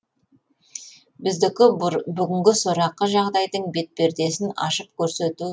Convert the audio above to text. біздікі бүгінгі сорақы жағдайдың бет пердесін ашып көрсету талабы ғана